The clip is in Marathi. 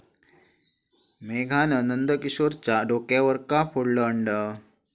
मेघानं नंदकिशोरच्या डोक्यावर का फोडलं अंड?